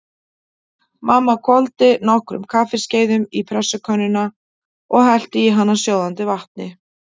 Mamma hvolfdi nokkrum kaffiskeiðum í pressukönnuna og hellti í hana sjóðandi vatni.